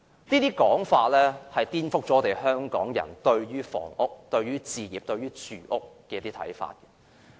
這種說法顛覆了香港人對於房屋、置業和住屋的看法。